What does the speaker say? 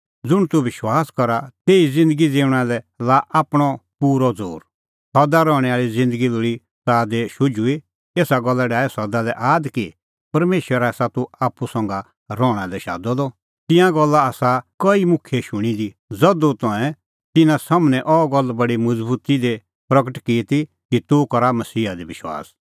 ज़ुंण तूह विश्वास करा तेही ज़िन्दगी ज़िऊंणां लै लाआ आपणअ पूरअ ज़ोर सदा रहणैं आल़ी ज़िन्दगी लोल़ी ताह दी शुझुई एसा गल्ला डाहै सदा आद कि परमेशरै आसा तूह आप्पू संघा रहणा लै शादअ द तेरी तिंयां गल्ला आसा कई मुखियै शूणीं दी ज़धू तंऐं तिन्नां सम्हनै अह गल्ल बडी मज़बुती दी प्रगट की ती कि तूह करा मसीहा दी विश्वास